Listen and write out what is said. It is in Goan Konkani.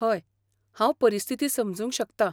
हय, हांव परिस्थिती समजूंंक शकतां.